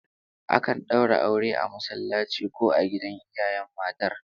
Akan daura aure a masallaci ko a gidan iyayen matar